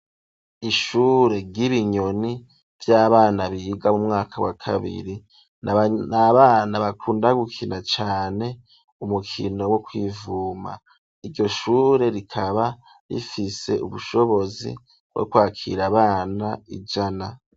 Ishure ry'ibinyoni vy'abana biga mu mwaka wa kabiri, n'abana bakunda gukina cane umukino wo kwivuma iryo shure rikaba rifise ubushobozi bwo kwakira abana ijana.